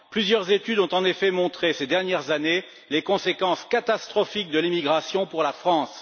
Plusieurs études ont en effet montré, ces dernières années, les conséquences catastrophiques de l'immigration pour la France.